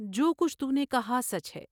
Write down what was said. جو کچھ تو نے کہا سچ ہے ۔